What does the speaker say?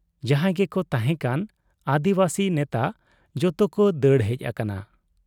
ᱡᱟᱦᱟᱸᱭ ᱜᱮᱠᱚ ᱛᱟᱦᱮᱸ ᱠᱟᱱ ᱟᱹᱫᱤᱵᱟᱹᱥᱤ ᱱᱮᱛᱟ ᱡᱚᱛᱚ ᱠᱚ ᱫᱟᱹᱲ ᱦᱮᱡ ᱟᱠᱟᱱᱟ ᱾